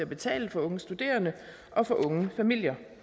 betalbare boliger